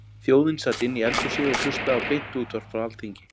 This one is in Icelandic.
Þjóðin sat inni í eldhúsi og hlustaði á beint útvarp frá Alþingi.